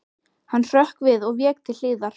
Hann hrökk við og vék til hliðar.